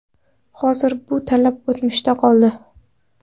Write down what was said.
Hozir bu talab o‘tmishda qoldi”.